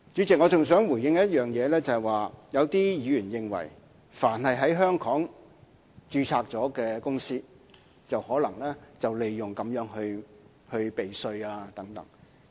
主席，我還想回應一點，有議員認為凡是在香港註冊的公司，就可能會利用《條例草案》避稅。